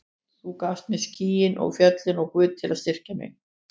Þú gafst mér skýin og fjöllin og Guð til að styrkja mig.